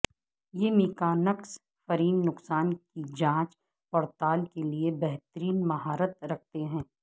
یہ mechanics frame نقصان کی جانچ پڑتال کے لئے بہترین مہارت رکھتے ہیں